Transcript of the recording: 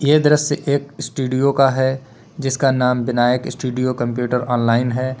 ये दृश्य एक स्टूडियो का है जिसका नाम विनायक स्टूडियो कंप्यूटर ऑनलाइन है।